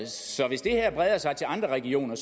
så hvis det her breder sig til andre regioner